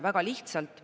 Väga lihtsalt.